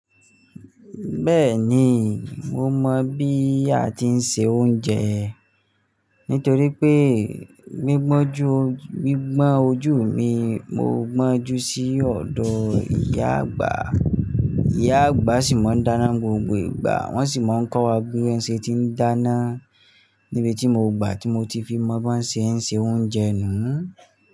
Bẹ́ẹ̀ni, mo mọ̀ bí a ti ń se oúnjẹ nítorí pé gbigbọnju, gbi gbọ́n ojú mi, mo gbọ́n jú sí ọ̀dọ̀ ìyá àgbà. Ìyá àgbà sì máa ń dáná gbogbo ìgbà, wọ́n sì máa ń kọ́ wa bí ẹ n ṣe ti ń dáná. Ni bí tí mo gbà tí mo ti fi mọ bọ́ ṣe ń se oúnjẹ nùú.